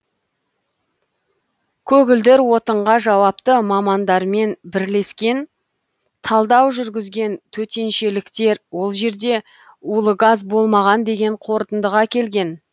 көгілдір отынға жауапты мамандармен бірлескен талдау жүргізген төтеншеліктер ол жерде улы газ болмаған деген қорытындыға келген